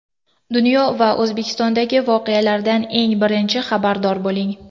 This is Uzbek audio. Dunyo va O‘zbekistondagi voqealardan eng birinchi xabardor bo‘ling.